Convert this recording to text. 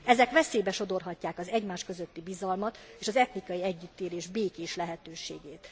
Ezek veszélybe sodorhatják az egymás közötti bizalmat és az etnikai együttélés békés lehetőségét.